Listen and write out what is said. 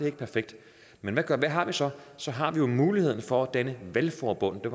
er perfekt men hvad har vi så så har vi jo muligheden for at danne valgforbund det